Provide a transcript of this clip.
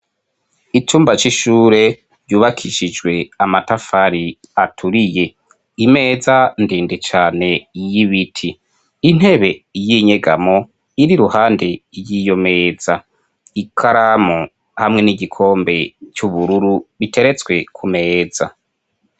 Icumba cishure cubakishijwe amatafari aturiye imeza ndende cane y'ibiti intebe y'inyegamo iri ruhande y'iyo meza ikaramu hamwe n'igikombe cy'ubururu biteretswe ku meza